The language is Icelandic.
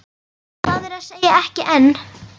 Það er að segja, ekki enn.